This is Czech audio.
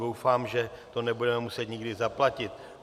Doufám, že to nebudeme muset nikdy zaplatit.